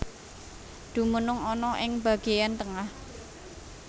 Dumunung ana ing bageyan tengah